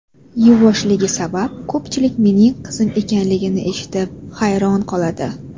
Yuvoshligi sabab ko‘pchilik mening qizim ekanligini eshitib hayron qoladi.